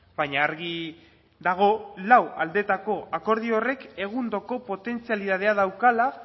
baina argi dago lau aldetako akordio horrek egundoko potentzialidadea daukala